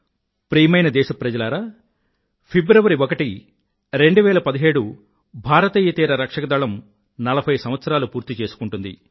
ప్రియమైన దేశ ప్రజలారా ఫిబ్రవరి ఒకటి 2017 భారతీయ తీర రక్షక దళం 40 సంవత్సరాలు పూర్తి చేసుకుంటుంది